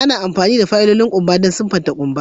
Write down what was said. Ana amfani da fayilolin kumba wajen siffatan kumba.